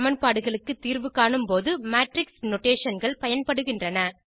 சமன்பாடுகளுக்கு தீர்வு காணும்போது மேட்ரிக்ஸ் notationகள் பயன்படுகின்றன